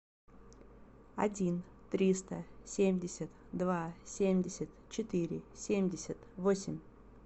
один триста семьдесят два семьдесят четыре семьдесят восемь